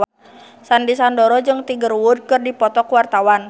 Sandy Sandoro jeung Tiger Wood keur dipoto ku wartawan